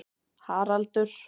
Haraldur